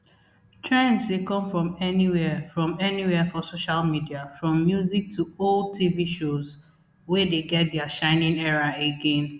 trends dey come from anywia from anywia for social media from music to old tv shows wey dey get dia shining era again